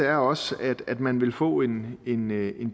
er også at man ville få en en